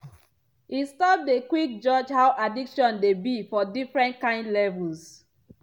e stop dey quick judge how addiction dey be for different kind levels.